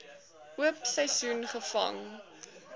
oop seisoen gevang